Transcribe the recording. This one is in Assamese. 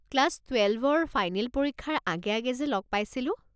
ক্লাছ টুৱেলভৰ ফাইনেল পৰীক্ষাৰ আগে আগে যে লগ পাইছিলো।